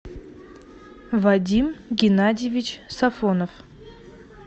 вадим геннадьевич сафонов